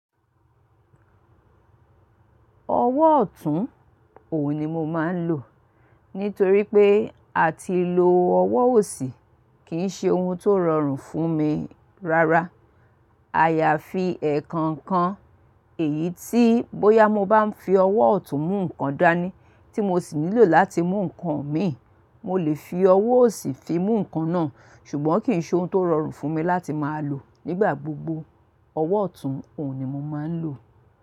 Ọwọ́ ọ̀tún òun ni mo máa ń lò. Nítorí pé a ti lo ọwọ́ òsì kì í ṣe ohun tó rọrùn fún mi rárá. À yà fi èe kan kan èyí tí bóyá mo bá n fi ọwọ́ ọ̀tún mú nǹkan dání tí mo sì nílò láti mú nǹkan mìí, mo lè fi ọwọ́ òsì fi mú nǹkan náà. Ṣùgbọ́n kì í ṣe ohun tó rọrùn fún mi láti máa lò nígbà gbogbo. Ọwọ́ ọ̀tún òun ni mo máa ń lò.